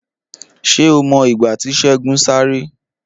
Ṣé o mọ ìgbà tí Segun sáré?